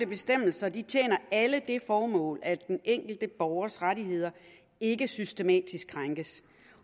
bestemmelser tjener alle det formål at den enkelte borgers rettigheder ikke systematisk krænkes